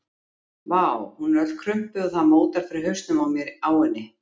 Vá, hún er öll krumpuð og það mótar fyrir hausnum á mér á henni.